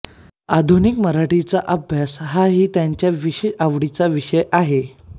आधुनिक मराठी कवितेचा अभ्यास हाही त्यांच्या विशेष आवडीचा विषय आहे